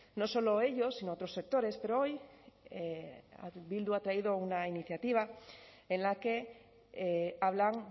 no solo ellos sino otros sectores pero hoy bildu ha traído una iniciativa en la que hablan